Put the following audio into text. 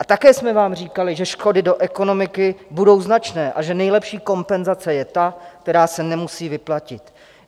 A také jsme vám říkali, že škody do ekonomiky budou značné a že nejlepší kompenzace je ta, která se nemusí vyplatit.